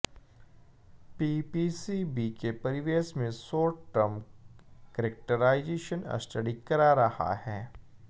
PPCB के परिवेश में शॉर्ट टर्म करेक्टराइजेशन स्टडी करा रहा है